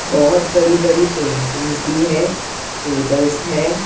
बहोत बड़ी बड़ी पेंटिंग्स भी है टेबल्स है।